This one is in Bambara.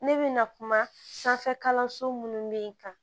Ne bɛ na kuma sanfɛ kalanso minnu bɛ yen